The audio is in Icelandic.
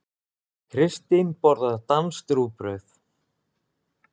Kristín borðar danskt rúgbrauð.